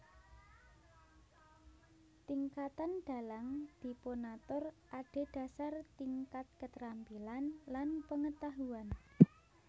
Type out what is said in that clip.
Tingkatan dalang dipunatur adhedhasar tingkat keterampilan lan pengetahuan